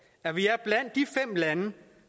at vi er blandt de fem lande